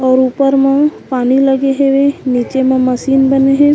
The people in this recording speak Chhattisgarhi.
और ऊपर म पानी लगे हेवे नीचे म मशीन बने हे।